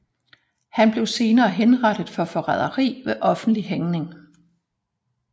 Han blev senere henrettet for forræderi ved offentlig hængning